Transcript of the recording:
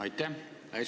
Aitäh!